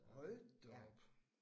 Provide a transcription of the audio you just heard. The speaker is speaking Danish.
Hold da op